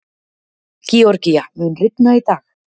Georgía, mun rigna í dag?